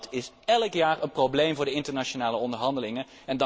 En dat is elk jaar een probleem voor de internationale onderhandelingen.